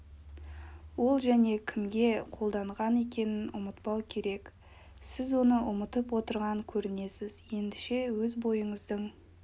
ол және кімге қолданған екенін ұмытпау керек сіз оны ұмытып отырған көрінесіз ендеше өз бойыңыздың